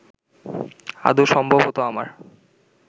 আদৌ সম্ভব হতো আমার